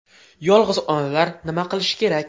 Yolg‘iz onalar nima qilishi kerak?